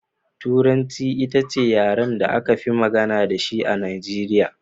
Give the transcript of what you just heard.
Turanci ita ce yaren da aka fi magana da shi a Najeriya.